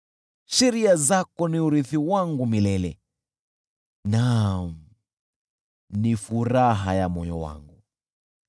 Sheria zako ni urithi wangu milele, naam ni furaha ya moyo wangu.